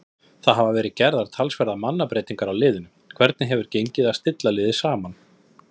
Það hafa verið talsverðar mannabreytingar á liðinu, hvernig hefur gengið að stilla liðið saman?